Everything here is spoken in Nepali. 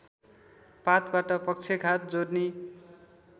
पातबाट पक्षघात जोर्नी